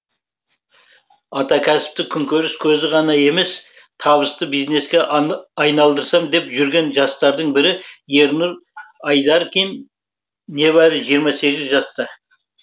атакәсіпті күнкөріс көзі ғана емес табысты бизнеске айналдырсам деп жүрген жастардың бірі ернұр айдаркин небәрі жиырма сегіз жаста